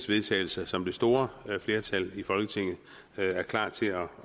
vedtagelse som det store flertal i folketinget er klar til at